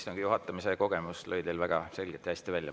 Istungi juhatamise kogemus lõi teil väga selgelt ja hästi välja.